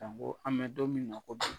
Janko an bɛ don min na ko bi.